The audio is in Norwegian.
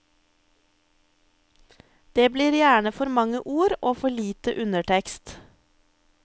Det blir gjerne for mange ord og for lite undertekst.